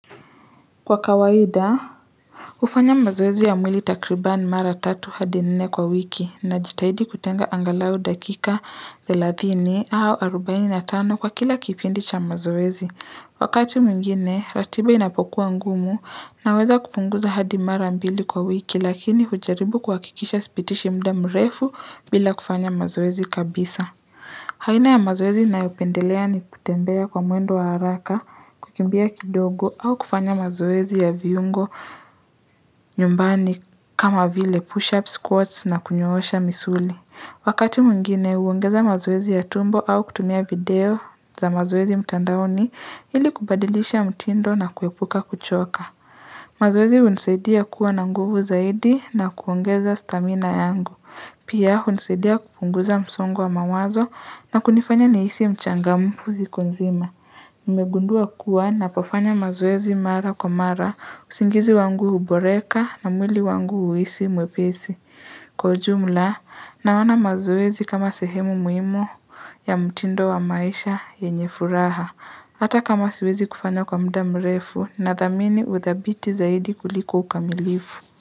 Kwa kawaida hufanya mazoezi ya mwili takribani mara tatu hadi nne kwa wiki ninajitahidi kutenga angalau dakika thelathini au arubaini na tano kwa kila kipindi cha mazoezi wakati mwingine ratiba inapokuwa ngumu naweza kupunguza hadi mara mbili kwa wiki lakini hujaribu kuhakikisha sipitishi muda mrefu bila kufanya mazoezi kabisa aina ya mazoezi ninayopendelea ni kutembea kwa mwendo wa haraka, kukimbia kidogo au kufanya mazoezi ya viungo nyumbani kama vile push-up squats na kunyoosha misuli. Wakati mwingine huongeza mazoezi ya tumbo au kutumia video za mazoezi mtandaoni ili kubadilisha mtindo na kuepuka kuchoka. Mazoezi hunisaidia kuwa na nguvu zaidi na kuongeza stamina yangu. Pia hunisaidia kupunguza msongo wa mawazo na kunifanya nihisi mchangamfu siku mzima. Nimegundua kuwa ninapofanya mazoezi mara kwa mara usingizi wangu huboreka na mwili wangu huisi mwepisi. Kwa ujumla, naona mazoezi kama sehemu muhimu ya mtindo wa maisha yenye furaha, hata kama siwezi kufanya kwa muda mrefu nathamini uthabiti zaidi kuliko ukamilifu.